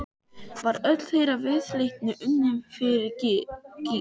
Var öll þeirra viðleitni unnin fyrir gýg?